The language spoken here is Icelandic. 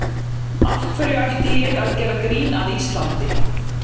Af hverju ætti ég að gera grín að Íslandi?